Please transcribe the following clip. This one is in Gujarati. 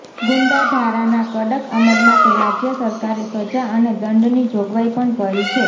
ગુંડા ધારાના કડક અમલ માટે રાજ્ય સરકારે સજા અને દંડની જોગવાઇ પણ કરી છે